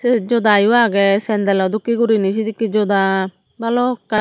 sut joda yo aage sandle o dokki guriney sedekki joda balokkani.